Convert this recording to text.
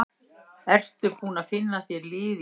Ertu búinn að finna þér lið í Svíþjóð?